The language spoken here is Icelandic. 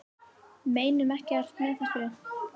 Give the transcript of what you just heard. Meinum ekkert með þessu